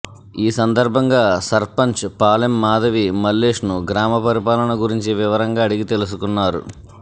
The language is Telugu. ఈ సందర్భంగా సర్పంచ్ పాలెం మాధవి మల్లేష్ను గ్రామ పరిపాలన గురించి వివరంగా అడిగి తెలుసుకున్నారు